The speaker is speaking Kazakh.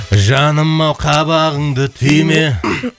жаным ау қабағыңды түйме